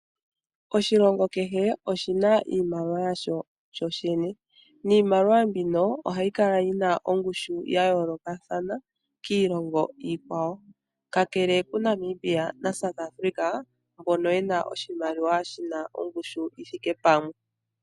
Oshilongo kehe oshina iimaliwa yasho shoshene. Niimaliwa mbino ohayi kala yina ongushu ya yoolokathana kiilongo iikwawo, kakele kuNamibia naSouth Africa mbono yena oshimaliwa shina ongushu yithike pamwe.